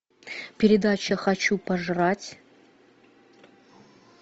передача хочу пожрать